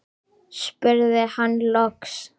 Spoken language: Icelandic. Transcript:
spurði hann loks.